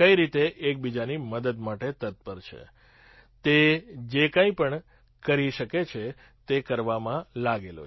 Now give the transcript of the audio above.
કઈ રીતે એકબીજાની મદદ માટે તત્પર છે તે જે કંઈ પણ કરી શકે છે તે કરવામાં લાગેલો છે